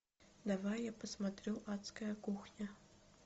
давай я посмотрю адская кухня